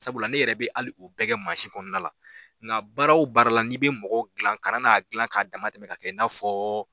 Sabula ne yɛrɛ bɛ ali o bɛɛ kɛ kɔnɔna la nka baara wo baara la n'i bɛ mɔgɔ dilan kana n'a gilan k'a dama tɛmɛ ka kɛ i n'a fɔ